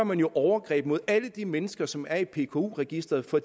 man jo overgreb mod alle de mennesker som er i pku registeret for